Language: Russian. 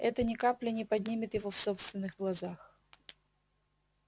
это ни капли не поднимет его в собственных глазах